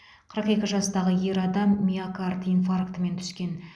қырық екі жастағы ер адам миокард инфарктімен түскен